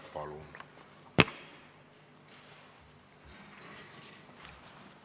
Palun!